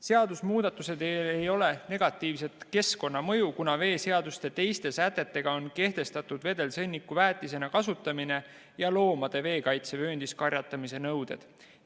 Seadusemuudatustel ei ole negatiivset keskkonnamõju, kuna veeseaduse teiste sätetega on kehtestatud vedelsõnniku väetisena kasutamine ja loomade veekaitsevööndis karjatamise nõuded.